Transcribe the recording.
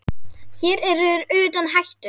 Hér eru þeir utan hættu.